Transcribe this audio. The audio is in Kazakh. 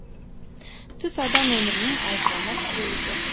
түс адам өмірінің ажырамас бөлігі